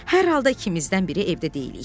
Hər halda ikimizdən biri evdə deyilik.